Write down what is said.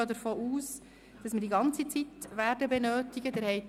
Ich gehe davon aus, dass wir die ganze Zeit benötigen werden.